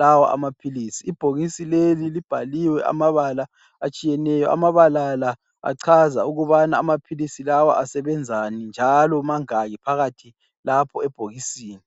lawa amaphilisi ibhokisi leli libhaliwe amabala atshiyeneyo amabala la achaza ukubana amaphilisi lawa asebenzani njalo mangaki phakathi lapho ebhokisini.